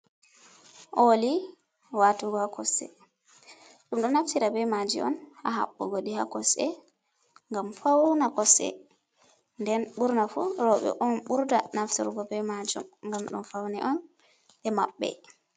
Ooli watugo ha kossɗe, ɗum ɗo naftira be maji on ha haɓɓugo ɗi ha kosɗe ngam faune kosɗe, nden burna fu roɓe on burda naftirgo be majum ngam ɗo faun on je maɓɓe.